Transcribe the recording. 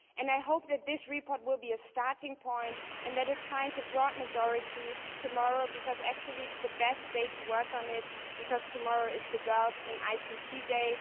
I hope that this report will be a starting point and that it finds a broad majority tomorrow because actually that is the best day to work on it as tomorrow is Girls in ICT Day.